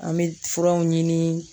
An bɛ furaw ɲini